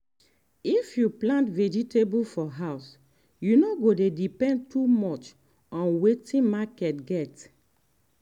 if you plant vegetable for house you no go dey depend too much on wetin market get.